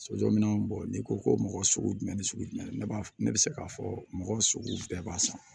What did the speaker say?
Sojɔminɛnw bɔ n'i ko ko mɔgɔ sugu jumɛn ni sugu jumɛn ne b'a ne bɛ se k'a fɔ mɔgɔ sugu bɛɛ b'a san